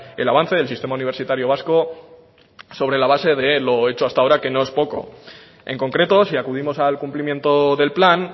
el avance del sistema universitario vasco sobre la base de lo hecho hasta ahora que no es poco en concreto si acudimos al cumplimiento del plan